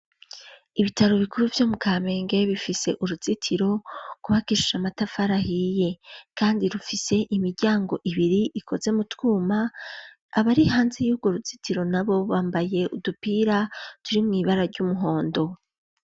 Ibitaro bikuru vyo mu Kamenge bifise uruzitiro rwubakishije amatafari ahiye. Kandi rufise imiryango ibiri ikoze mu twuma, abari hanze y'urwo ruzitiro nabo bambaye udupira turimwo ibara ry'umuhondo.